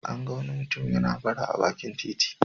An ga wani mutum yana bara a bakin titi.